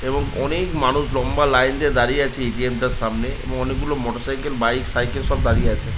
এবং অনেক মানুষ লম্বা লাইন দিয়ে দাঁড়িয়ে রয়েছে এই এ.টি.এম. টার সামনে এবং অনেক গুলো মোটর সাইকেল বাইক সাইকেল সব দাঁড়িয়ে আছে ।